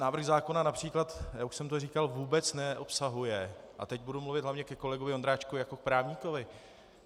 Návrh zákona například, já už jsem to říkal, vůbec neobsahuje - a teď budu mluvit hlavně ke kolegovi Vondráčkovi jako k právníkovi.